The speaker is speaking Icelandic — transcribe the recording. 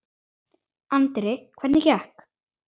Andri: Hvernig gekk?